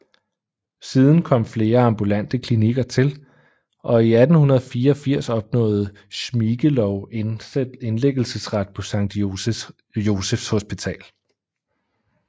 Siden kom flere ambulante klinikker til og i 1884 opnåede Schmiegelow indlæggelsesret på Sankt Josephs Hospital